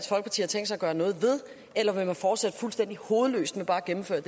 gøre noget ved eller vil man fortsætte fuldstændig hovedløst med bare at gennemføre